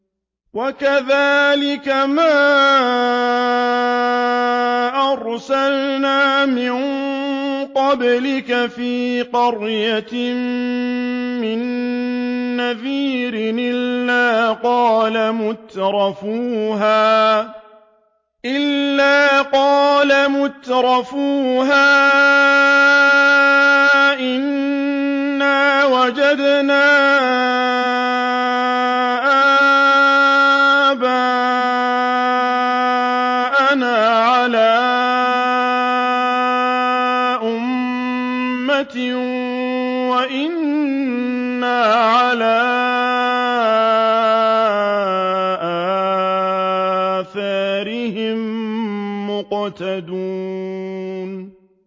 وَكَذَٰلِكَ مَا أَرْسَلْنَا مِن قَبْلِكَ فِي قَرْيَةٍ مِّن نَّذِيرٍ إِلَّا قَالَ مُتْرَفُوهَا إِنَّا وَجَدْنَا آبَاءَنَا عَلَىٰ أُمَّةٍ وَإِنَّا عَلَىٰ آثَارِهِم مُّقْتَدُونَ